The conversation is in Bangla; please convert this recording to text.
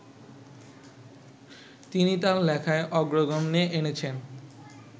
তিনি তাঁর লেখায় অগ্রগণ্যে এনেছেন